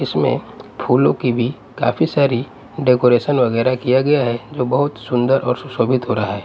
इसमें फूलों की भी काफी सारी डेकोरेशन वगैरह किया गया है जो बहुत सुंदर और सुशोभित हो रहा है।